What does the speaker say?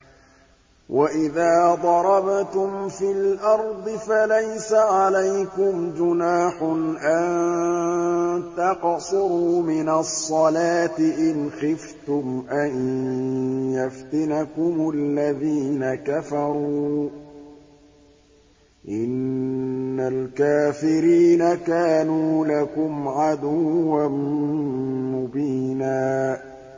وَإِذَا ضَرَبْتُمْ فِي الْأَرْضِ فَلَيْسَ عَلَيْكُمْ جُنَاحٌ أَن تَقْصُرُوا مِنَ الصَّلَاةِ إِنْ خِفْتُمْ أَن يَفْتِنَكُمُ الَّذِينَ كَفَرُوا ۚ إِنَّ الْكَافِرِينَ كَانُوا لَكُمْ عَدُوًّا مُّبِينًا